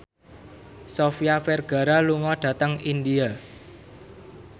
Sofia Vergara lunga dhateng India